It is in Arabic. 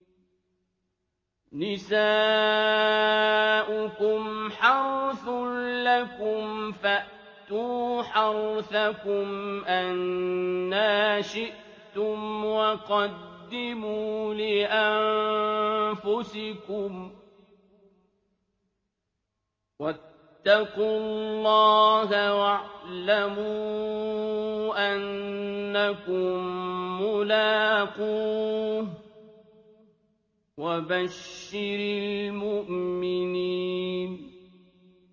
نِسَاؤُكُمْ حَرْثٌ لَّكُمْ فَأْتُوا حَرْثَكُمْ أَنَّىٰ شِئْتُمْ ۖ وَقَدِّمُوا لِأَنفُسِكُمْ ۚ وَاتَّقُوا اللَّهَ وَاعْلَمُوا أَنَّكُم مُّلَاقُوهُ ۗ وَبَشِّرِ الْمُؤْمِنِينَ